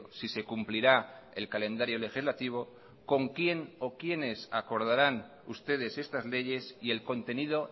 si se cumplirá el calendario legislativo con quién o quienes acordarán ustedes estas leyes y el contenido